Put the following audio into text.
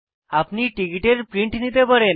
আপনি টিকিটের প্রিন্ট নিতে পারেন